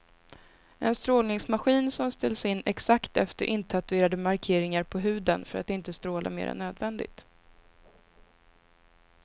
En strålningsmaskin som ställs in exakt efter intatuerade markeringar på huden för att inte stråla mer än nödvändigt.